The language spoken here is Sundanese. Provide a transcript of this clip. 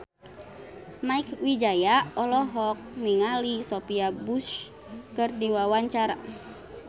Mieke Wijaya olohok ningali Sophia Bush keur diwawancara